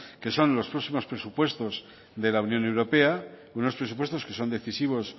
que son los próximos presupuestos de la unión europea unos presupuestos que son decisivos